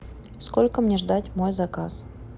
сколько мне ждать мой заказ